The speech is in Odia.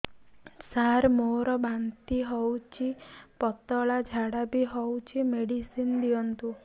ସାର ମୋର ବାନ୍ତି ହଉଚି ପତଲା ଝାଡା ବି ହଉଚି ମେଡିସିନ ଦିଅନ୍ତୁ